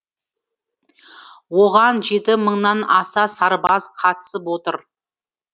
оған жеті мыңнан аса сарбаз қатысып отыр